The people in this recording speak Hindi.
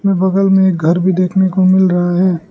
और बगल में एक घर भी देखने को मिल रहा है।